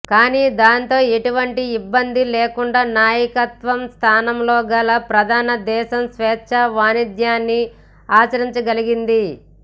కానీ దానితో ఎటువంటి ఇబ్బందీ లేకుండా నాయకత్వ స్థానంలోగల ప్రధాన దేశం స్వేచ్ఛా వాణిజ్యాన్ని ఆచరించగలిగింది